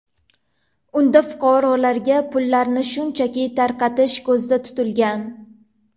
Unda fuqarolarga pullarni shunchaki tarqatish ko‘zda tutilgan.